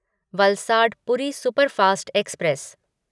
Valsad Puri superfast express